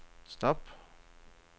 stop